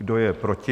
Kdo je proti?